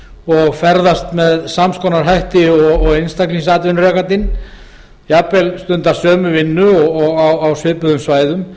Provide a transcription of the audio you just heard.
og ferðast með sams konar hætti og einstaklingsatvinnurekandinn stundar jafnvel sömu vinnu og á svipuðum svæðum